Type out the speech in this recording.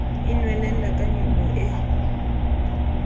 e nwelella ka nyollo e